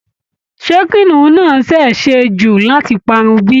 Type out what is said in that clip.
Ṣé kìnnìún náà ṣeé ṣe jù láti parun bí?